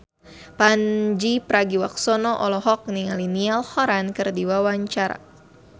Pandji Pragiwaksono olohok ningali Niall Horran keur diwawancara